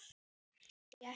Hví ekki.